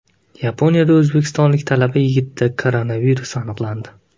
Yaponiyada o‘zbekistonlik talaba yigitda koronavirus aniqlandi.